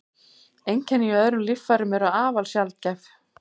Einkenni í öðrum líffærum eru afar sjaldgæf.